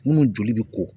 Munnu joli bɛ ko